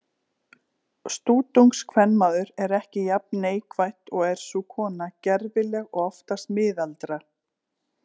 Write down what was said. Stútungskvenmaður er ekki jafn neikvætt og er sú kona gervileg og oftast miðaldra.